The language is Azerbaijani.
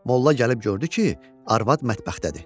Molla gəlib gördü ki, arvad mətbəxdədir.